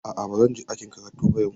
A'a ba zan je ɗakin karatu ba yau.